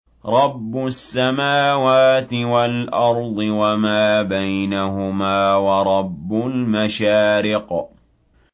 رَّبُّ السَّمَاوَاتِ وَالْأَرْضِ وَمَا بَيْنَهُمَا وَرَبُّ الْمَشَارِقِ